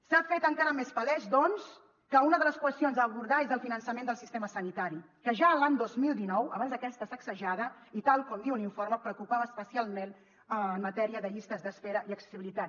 s’ha fet encara més palès doncs que una de les qüestions a abordar és el finançament del sistema sanitari que ja l’any dos mil dinou abans d’aquesta sacsejada i tal com diu l’informe preocupava especialment en matèria de llistes d’espera i accessibilitat